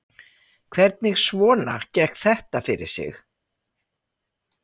Hvernig svona gekk þetta fyrir sig?